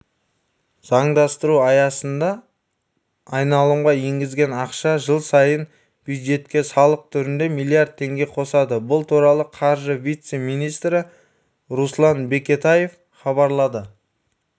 заңдастыру аясында айналымға енгізілген ақша жыл сайын бюджетке салық түрінде млрд теңге қосады бұл туралы қаржы вице-министрі руслан бекетаев хабарлады